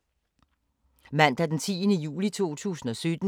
Mandag d. 10. juli 2017